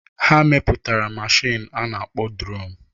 Ha mepụtara mashin a na-akpọ dron.